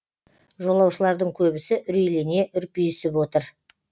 жолаушылардың көбісі үрейлене үрпиісіп отыр